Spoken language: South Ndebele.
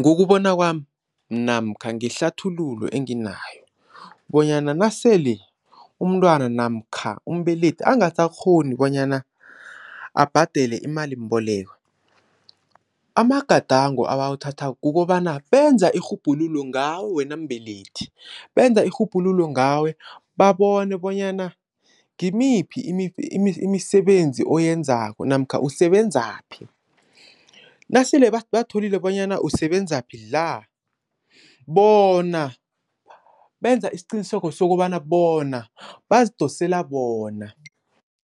Ngokubona kwami namkha ngehlathululo enginayo bonyana nasele umntwana namkha umbelethi angasakghoni bonyana abhadele imalimboleko. Amagadango abawathathako kukobana benza irhubhululo ngawe wena mbelethi benza irhubhululo ngawe babone bonyana ngimiphi imisebenzi oyenzako namkha usebenzaphi. Nasele batholile bonyana usebenzaphi la, bona benza isiqiniseko sokobana bona bazidosela bona.